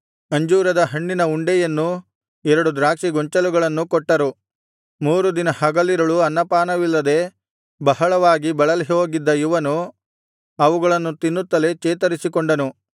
ಅಂಜೂರ ಹಣ್ಣಿನ ಉಂಡೆಯನ್ನೂ ಎರಡು ದ್ರಾಕ್ಷಿ ಗೊಂಚಲುಗಳನ್ನು ಕೊಟ್ಟರು ಮೂರು ದಿನ ಹಗಲಿರುಳು ಅನ್ನಪಾನವಿಲ್ಲದೆ ಬಹಳವಾಗಿ ಬಳಲಿಹೋಗಿದ್ದ ಇವನು ಅವುಗಳನ್ನು ತಿನ್ನುತ್ತಲೇ ಚೇತರಿಸಿಕೊಂಡನು